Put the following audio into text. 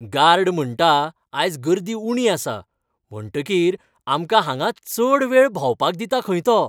Guard म्हणटा आयज गर्दी उणी आसा, म्हणटकीर आमकां हांगा चड वेळ भोंवपाक दिता खंय तो.